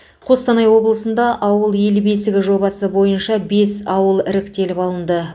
қостанай облысында ауыл ел бесігі жобасы бойынша бес ауыл іріктеліп алынды